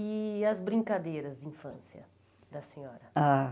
E as brincadeiras de infância da senhora? Ah